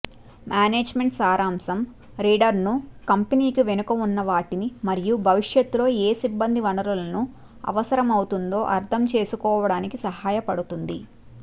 management సారాంశం రీడర్ను కంపెనీకి వెనుక ఉన్నవాటిని మరియు భవిష్యత్తులో ఏ సిబ్బంది వనరులను అవసరమవుతుందో అర్థం చేసుకోవడానికి సహాయపడుతుంది